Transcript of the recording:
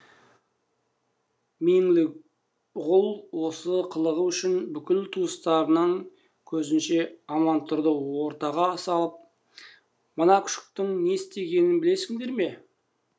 меңліғұл осы қылығы үшін бүкіл туыстарының көзінше амантұрды ортаға салып мына күшіктің не істегенін білесіңдер ме